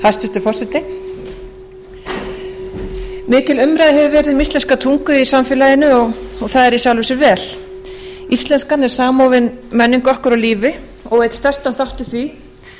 hæstvirtur forseti mikil umræða hefur verið um íslenska tungu í samfélaginu og það er í sjálfu sér vel íslenskan er samofin menningu okkar og lífi og á einn stærstan þátt í því